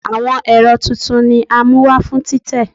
Awọn ẹrọ titun ni a mu wa fun titẹ